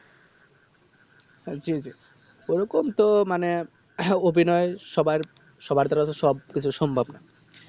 আহ জি জি ওরকম তো মানে হ্যাঁ অভিনয় সব্বার সব্বার দ্বারা তো সব কিছু সম্ভব না